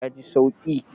Ya ji sauki?